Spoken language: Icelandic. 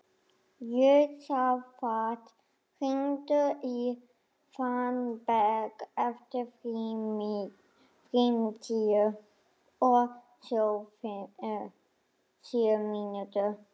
Jósafat, hringdu í Fannberg eftir fimmtíu og sjö mínútur.